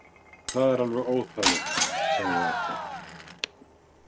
Það er alveg óþarfi, sagði Edda.